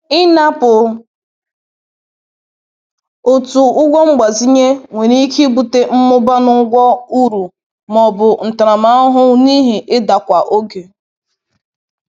Inapụ otu ụgwọ mgbazinye nwere ike ibute mmụba na ụgwọ uru ma ọ bụ ntaramahụhụ n’ihi idakwa oge.